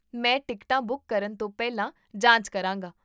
ਮੈਂ ਟਿਕਟਾਂ ਬੁੱਕ ਕਰਨ ਤੋਂ ਪਹਿਲਾਂ ਜਾਂਚ ਕਰਾਂਗਾ